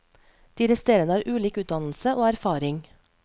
De resterende har ulik utdannelse og erfaring.